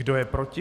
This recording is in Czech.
Kdo je proti?